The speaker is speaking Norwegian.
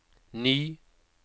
ny